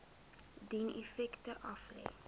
dien effekte aflê